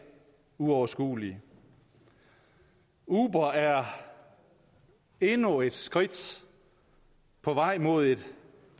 uoverskuelige uber er endnu et skridt på vejen mod et